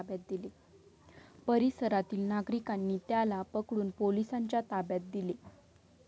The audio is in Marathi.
परिसरातील नागरिकांनी त्याला पकडून पोलिसांच्या ताब्यात दिले.